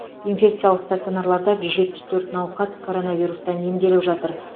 инфекциялық стационарларда жүз жетпіс төрт науқас коронавирустан емделіп жатыр